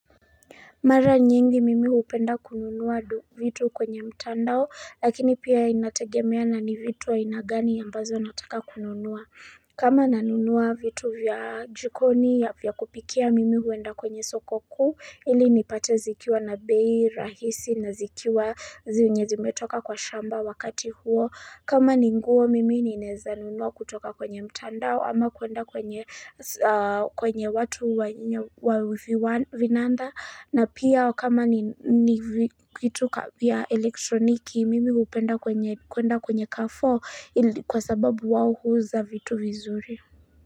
Mara nyingi mimi hupenda kununua vitu kwenye mtandao lakini pia inategemea na ni vitu aina gani ambazo nataka kununua. Kama nanunua vitu vya jikoni ya vya kupikia mimi huenda kwenye soko kuu ili nipate zikiwa na bei rahisi na zikiwa zenye zimetoka kwa shamba wakati huo. Kama ni nguo mimi ninaeza nunua kutoka kwenye mtandao ama kuenda kwenye kwenye watu wa viwa vinanda na pia kama ni kitu ka vya elektroniki mimi hupenda kwenye kuenda kwenye kafo kwa sababu wao huuza vitu vizuri.